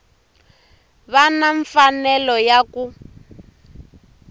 va na mfanelo ya ku